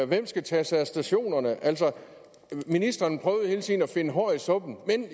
hvem skal tage sig af stationerne altså ministeren prøvede hele tiden at finde hår i suppen men